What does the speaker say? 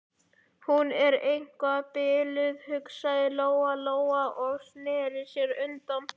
Hún er eitthvað biluð, hugsaði Lóa-Lóa og sneri sér undan.